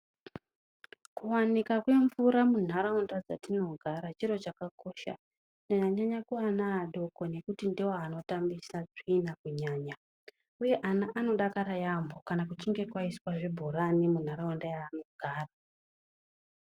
Kuwanikwa kwemvura munharaunda mwatinogara chiro chakakosha kunyanyanyanya kuvana vodoko ngekuti ndovanotambisa tsvina kunyanya, uye vana vanodakara yambo kana kwaiswa zvibhorani mundharaunda mavanogara.